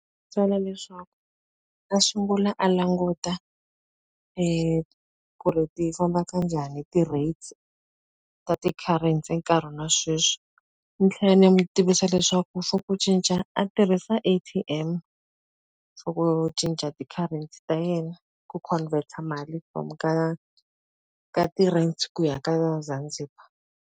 byela leswaku a sungula a languta ku ri ti famba ka njhani ti-rates ta ti-currency enkarhini wa sweswi. Ni tlhela ni n'wi tivisa leswaku for ku cinca a tirhisa A_T_M for ku cinca ti-currency ta yena, ku convert-a mali from ka ka ti-rands ku ya ka Zanzibar.